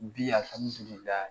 Bi